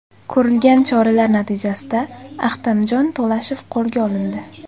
Ko‘rilgan choralar natijasida Ahtamjon To‘lashev qo‘lga olindi.